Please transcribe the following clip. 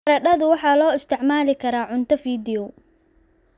Baradhadu waxaa loo isticmaali karaa cunto fiidiyow.